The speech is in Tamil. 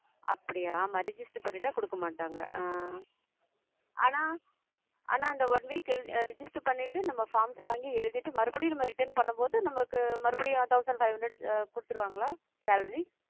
அப்படியா ஆமா register பண்ணிட்டா கொடுக்க மாட்டாங்க அஹ் ஆனா ஆனா அந்த one week எழுத் register பண்ணிட்டு நம்ம forms வாங்கி எழுதிட்டு மறுபடியும் நம்ம return பண்ணும் போது நமக்கு மறுபடியும் thousand five hundred கொடுத்திருவாங்களா? salary